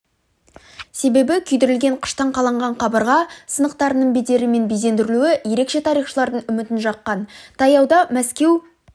себебі күйдірілген қыштан қаланған қабырға сынықтарының бедері мен безендірілуі ерекше тарихшылардың үмітін жаққан таяуда мәскеу